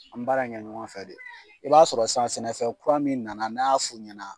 An baara kɛ ɲɔgɔn fɛ de . I b'a sɔrɔ san sɛnɛfɛn kura min nana n'a' y'a f'u ɲɛna